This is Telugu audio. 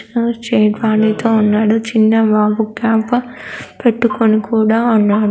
వాడితో అన్నాడు. చిన్నబాబు క్యాబ్ పెట్టుకొని కూడా ఉన్నా--